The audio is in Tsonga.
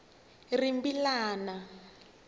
rimbilana